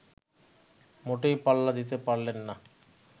মোটেই পাল্লা দিতে পারলেন না